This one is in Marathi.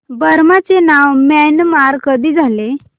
बर्मा चे नाव म्यानमार कधी झाले